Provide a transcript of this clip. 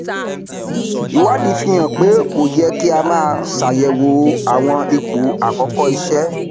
ìwádìí fi hàn pé kò yẹ kí a má ṣàyẹwò àwọn ipò àkọkọ iṣẹ